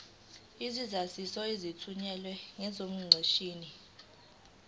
izaziso ezithunyelwe ngeqondomshini